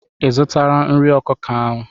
Ị zụtara nri ọkụkọ ahụ?